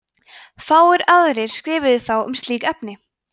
fáir aðrir skrifuðu þá um slík efni